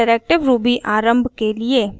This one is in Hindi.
interactive ruby आरम्भ के लिए